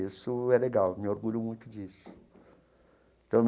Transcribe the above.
Isso é legal, me orgulho muito disso então.